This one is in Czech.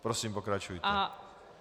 Prosím, pokračujte.